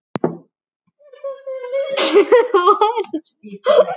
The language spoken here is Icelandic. er þessu lýst svona